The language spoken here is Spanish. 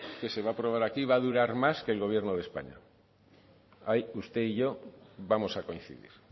que se va aprobar aquí va a durar más que el gobierno de españa ahí usted y yo vamos a coincidir